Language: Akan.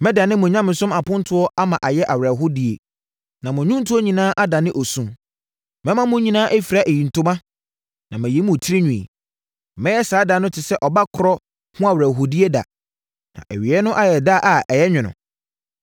Mɛdane mo nyamesom apontoɔ ama ayɛ awerɛhoɔdie na mo nnwontoɔ nyinaa adane osu. Mɛma mo nyinaa afira ayitoma na mayi mo tirinwi. Mɛyɛ saa da no te sɛ ɔba korɔ ho awerɛhoɔdie da na awieeɛ no ayɛ sɛ da a ɛyɛ nwono.